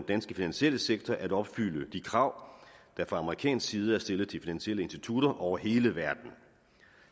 danske finansielle sektor at opfylde de krav der fra amerikansk side er stillet til de finansielle institutter over hele verden